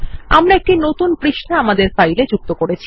এটি একটি নতুন পাতা আমাদের ফাইল যুক্ত করবে